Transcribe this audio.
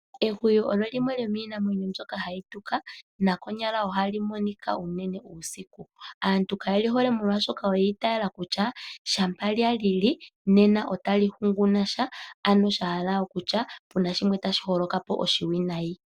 Ehwiyu olyo limwe lyomiimamwenyo mbyoka hayi tuka ,naaluhe ohali monika uusiku. Aantu kayeli hole molwaashoka oyi itayela kutya shaa lyalili otali hunguna sha oshiwinayi.